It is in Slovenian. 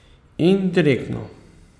Indirektno.